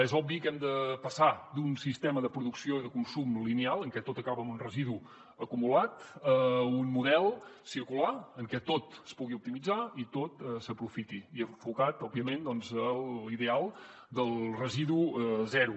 és obvi que hem de passar d’un sistema de producció i de consum lineal en què tot acaba amb un residu acumulat a un model circular en què tot es pugui optimitzar i tot s’aprofiti i enfocat òbviament a l’ideal del residu zero